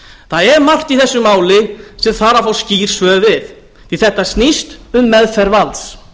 það er margt í þessu máli sem þarf að fá skýr svör við því að þetta snýst um meðferð valds